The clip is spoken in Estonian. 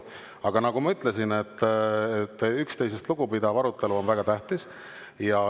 Aga nagu ma ütlesin, üksteisest lugupidav arutelu on väga tähtis.